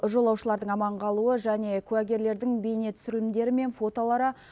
жолаушылардың аман қалуы және куәгерлердің бейне түсірілімдері мен фотолары